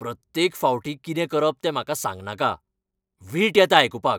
प्रत्येक फावटी कितें करप तें म्हाका सांगनाका. वीट येता आयकूपाक.